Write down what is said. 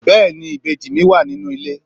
bẹẹni ìbejí mi wa ninú ilé